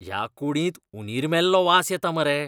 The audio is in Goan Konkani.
ह्या कुडींत उंदीर मेल्लो वास येता मरे.